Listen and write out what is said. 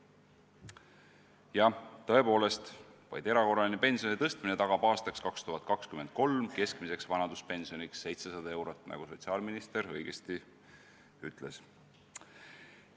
Jah, tõepoolest, vaid erakorraline pensioni tõstmine tagab aastaks 2023 keskmiseks vanaduspensioniks 700 eurot, nagu sotsiaalminister õigesti ütles.